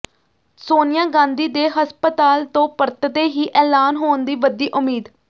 ਸੋਨੀਆ ਗਾਂਧੀ ਦੇ ਹਸਪਤਾਲ ਤੋਂ ਪਰਤਦੇ ਹੀ ਐਲਾਨ ਹੋਣ ਦੀ ਵਧੀ ਉਮੀਦ